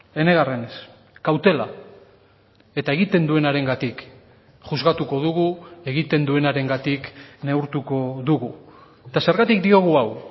enegarrenez kautela eta egiten duenarengatik juzgatuko dugu egiten duenarengatik neurtuko dugu eta zergatik diogu hau